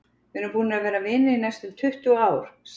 Við erum búnir að vera vinir í næstum tuttugu ár, sagði